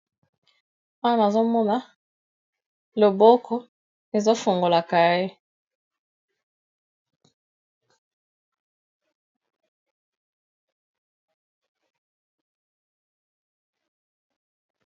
Awana azomona loboko ezofungola cahier.